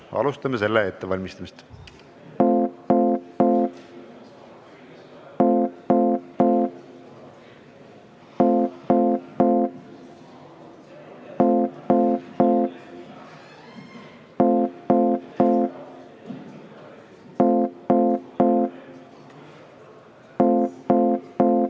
Alustame selle ettevalmistamist.